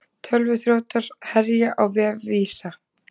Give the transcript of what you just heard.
Tölvuþrjótar herja á vef Visa